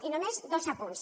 i només dos apunts